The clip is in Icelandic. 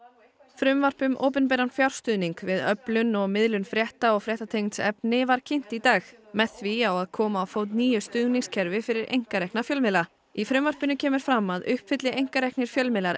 frumvarp um opinberan fjárstuðning við öflun og miðlun frétta og fréttatengds efnis var kynnt í dag með því á að koma á fót nýju stuðningskerfi fyrir einkarekna fjölmiðla í frumvarpinu kemur fram að uppfylli einkareknir fjölmiðlar